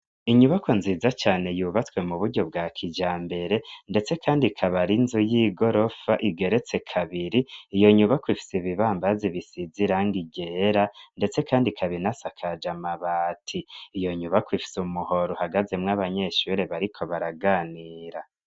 Inyubakwa nziza cane yubatswe mu buryo bwa kijambere ndetse kandi ikaba ari inzu y'igorofa igeretse kabiri, iyo nyubakwa ifise ibibambazi bisize irangi ryera ndetse kandi ikaba inasakaje amabati, iyo nyubakwa ifise umuhoro uhagazemwo abanyeshure bariko baraganira.